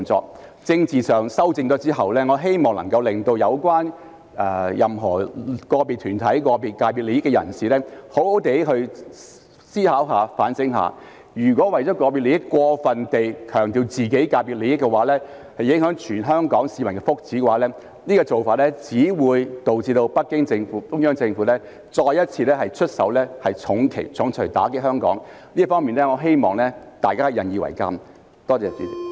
在政治上作出修正後，我希望能夠令有關的個別團體及代表個別界別利益的人士好好思考和反省，如果為了個別利益，過分強調自己界別的利益而影響全港市民福祉，這做法只會導致北京中央政府再一次出手重錘打擊香港，我希望大家引以為鑒。